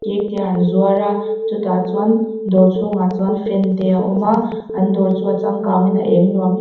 cake te an zuar a chu tah chuan dawr chhungah chuan fan te a awm a an dawr chu a changkang in a eng nuam--